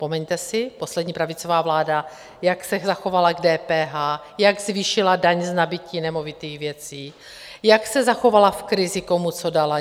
Vzpomeňte si, poslední pravicová vláda, jak se zachovala k DPH, jak zvýšila daň z nabytí nemovitých věcí, jak se zachovala v krizi, komu co dala?